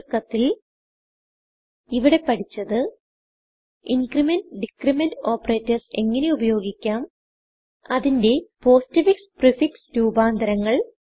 ചുരുക്കത്തിൽ ഇവിടെ പഠിച്ചത് incrementഡിക്രിമെന്റ് ഓപ്പറേറ്റർസ് എങ്ങനെ ഉപയോഗിക്കാം അതിന്റെ പോസ്റ്റ്ഫിക്സ് പ്രീഫിക്സ് രൂപാന്തരങ്ങൾ